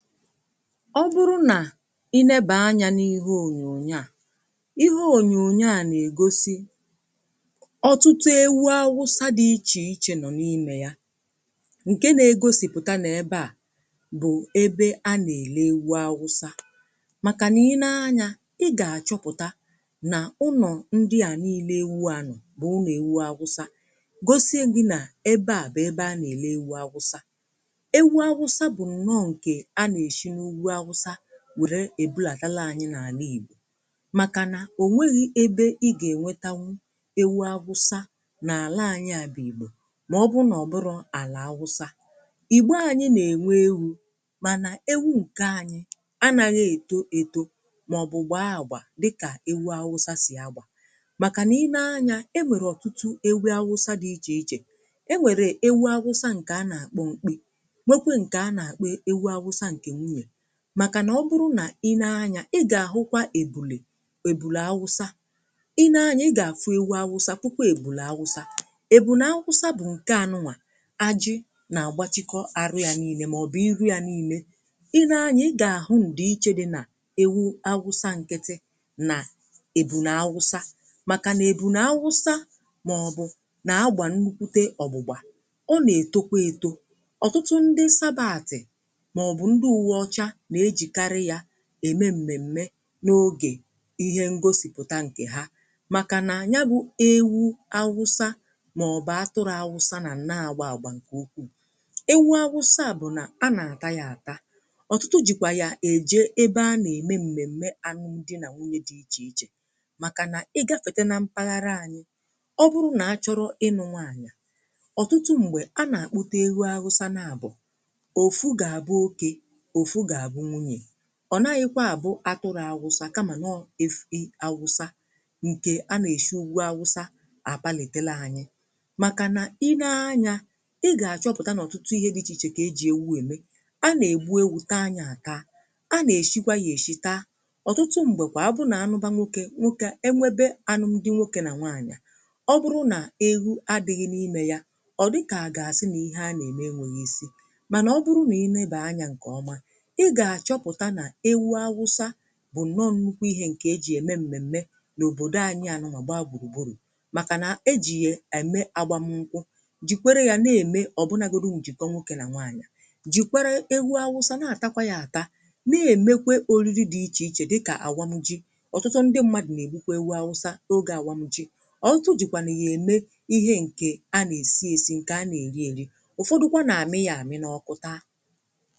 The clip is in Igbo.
Ọ bụrụ nà i leba anya n’ihe ònyònyo à, ihe ònyònyo à n'ègosi ọtụtụ ewu awụsa dị̀ ichè ichè nọ̀ n’imè ya, ǹkè n'egosìpụ̀ta n'ebe à bụ̀ ebe a n'èle ewụ awụsa. Màkà nà i nee anya, ị gà àchọpụ̀ta nà ụnọ̀ ndị à niile ewu à nọ̀ bụ̀ ụnọ̀ èwu awụsa gosie gị nà ebe à bụ̀ ebe a n'èle ewu awụsa. Ewu awụsa bụ̀ nnọọ nke a n'esi n'ugwu awụsa were èbulàtala anyi n’àlà ìgbò màkà nà ònweghi̇ ebe i gà ènwetanwu ewu awụsa n'àla anyi à bụ̀ ìgbò màọbụ̀ nà ọ̀bụrọ̀ àlà awụsa. Ìgbò ànyị n'ènwe ewu̇ mànà ewu ǹkè anyi anàghị èto èto màọbụ̀ gbaa àgbà dịkà ewu awụsa sì agbà màkà n’inee anyȧ, e nwèrè ọ̀tụtụ ewu awụsa dị ichè ichè. E nwèrè ewu awụsa ǹkè a n'àkpọ mkpị, nwe kwa nke a n'akpọ ewu awụsa nke nwunye maka na ọbụrụ nà i nee anya ị ga ahụkwa ebulè ebulè awụsa, i nee anya ị ga-afụ ewu awụsa fụkwa ebulè awụsa. Ebulè awụsa bụ nke a nụnwa ajị na agbachikọ arụ ya niine maọ̀bụ̀ iru ya niine i nee anya ị ga-ahụ ndị iche dị na ewu awụsa nkịtị na ebune awụsa maka na ebune awụsa maọ̀bụ̀ n'agbà nnukwute ọgbụgbà ọ n'etokwa eto. Ọtụtụ ndị sabàtị̀ ma ọbụ ndị uwe ọcha n'ejikarị ya ème m̀mèm̀me n’ogè ihe ngosìpụ̀ta ǹkè ha màkà nà ya bụ̀ ewu awụsa màọbụ̀ atụrụ awụsa nà n'agba àgba ǹkè ukwuù. Ewu awụsa a bụ̀ nà a n'àta ya àta, ọ̀tụtụ jìkwà ya èje ebe a n'ème m̀mèm̀me anụm di nà nwunye dị ichè ichè, màkà nà ịgȧfète na mpaghara anyị, ọ bụrụ nà a chọrọ ịnụ̇ nwaanyà, ọ̀tụtụ m̀gbè a n'àkpụta ewu awụsa naàbụ̀, ofu g'abu oké, ofu g'abu nwunye, ọ̀ naghịkwa àbụ atụrụ̇ awụsa kamà n’ọwụ efi awụsa ǹkè a n'èshi ugwu awụsa àpàlìtela anyị̇ màkà nà i nee anyȧ ị gà-àchọpụ̀ta n’ọ̀tụtụ ihe dị ichè ichè kà ejì èwu ème. A n'ègbu ėwù taa yȧ àta, a n'èshi kwa yȧ èshi taa, ọ̀tụtụ m̀gbè kwà abụrụ̀ nà anụ bȧ nwokė nwokė e nwebe anụ m dị nwokė nà nwanyà, ọ bụrụ nà ewu ̇adị̇ghị̇ n’imė yȧ, ọ̀ dịkà àgà àsị n’ihe a n'ème e nwėghi isi. Mànà ọ bụrụ nà i nee bà anyȧ ǹkè ọma, i gà-àchọpụ̀ta nà ewu awụsa bụ̀ nnọ nnukwu ihe ǹkè ejì ème m̀mèm̀me n’òbòdò anyị à nụnwa gbaa gburugburu màkà na ejì yè ème agbà m nkwụ, jìkwere yȧ n'ème ọ̀bụnagȯdi m njìkọ nwoke nà nwaanyị̀, jìkwere ewu awụsa n'àtakwa yȧ àta, n'èmekwe oriri dị̀ ichè ichè dịkà àwam ji, ọ̀tụtụ ndị mmadụ̀ n'ègbukwa ewu awụsa n'ogė àwam ji, ọ̀tụtụ jìkwà nà yà ème ihe ǹkè a n'èsi ėsi ǹkè a n'èri èri, ụ̀fọdụkwa nà àmi yȧ àmi n’ọkụ ta.